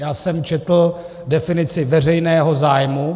Já jsem četl definici veřejného zájmu.